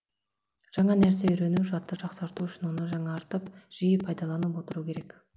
жаңа нәрсе үйрену жадты жақсарту үшін оны жаңартып жиі пайдаланып отыру керек